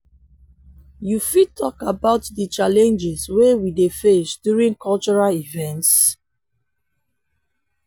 you fit talk about di challenges wey we dey face during cultural events?